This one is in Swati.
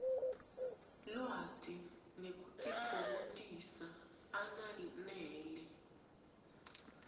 lwati nekutitfokotisa ananele